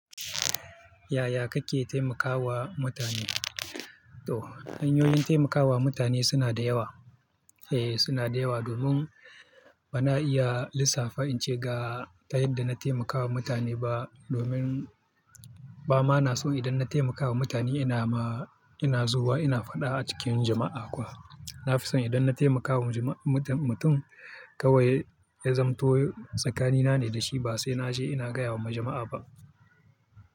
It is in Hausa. Yaya kake taimakawa mutane? To hanyoyin taimakawa mutane suna da yawa. Ea suna da yawa domin bana iya lissafa in ce ga ta yadda na taimakawa mutane ba domin ba ma na so idan na taimakawa mutane ina ma ina zuwa ina faɗa a cikin jama'a kuwa. Na fi so idan na taimakawa mutum kawai ya zamanto tsakanina ne da shi ba sai na je ina gaya wa majama'a ba.